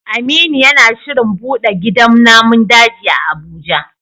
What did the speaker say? Aminu yana shirin bude gidan namun daji a Abuja